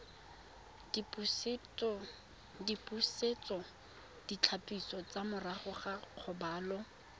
dipusetsoditlhapiso tsa morago ga kgobalo